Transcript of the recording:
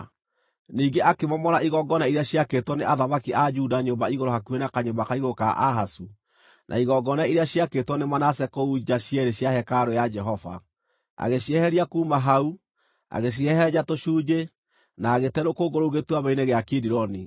Ningĩ akĩmomora igongona iria ciakĩtwo nĩ athamaki a Juda nyũmba igũrũ hakuhĩ na kanyũmba ka igũrũ ka Ahazu, na igongona iria ciakĩtwo nĩ Manase kũu nja cierĩ cia hekarũ ya Jehova. Agĩcieheria kuuma hau, agĩcihehenja tũcunjĩ, na agĩte rũkũngũ rũu Gĩtuamba-inĩ gĩa Kidironi.